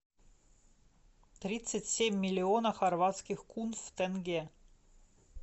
тридцать семь миллионов хорватских кун в тенге